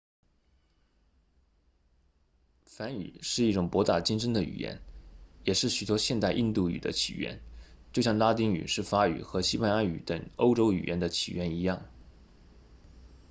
梵语是一种博大精深的语言也是许多现代印度语的起源就像拉丁语是法语和西班牙语等欧洲语言的起源一样